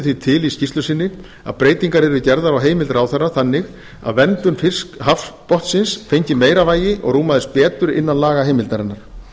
því til í skýrslu sinni að breytingar yrðu gerðar á heimild ráðherra þannig að verndun hafsbotnsins fengi meira vægi og rúmaðist betur innan lagaheimildarinnar